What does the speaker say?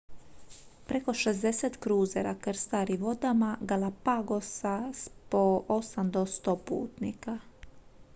preko 60 kruzera krstari vodama galapagosa s po 8 do 100 putnika